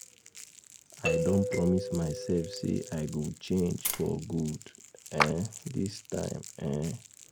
I don promise myself say I go change for good um dis time um